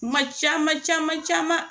Kuma caman caman caman